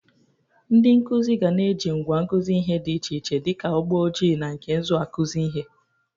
Ndị nkụzị ga na-eji ngwa nkụzị ihe dị iche iche dị ka ụgbọ ojii na nke nzụ akụzị ihe.